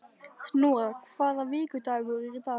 Snorra, hvaða vikudagur er í dag?